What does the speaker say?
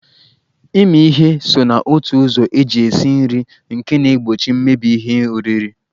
Ịmị ihe so na otu ụzọ eji esi nri nke na-egbochi mmebi ihe oriri.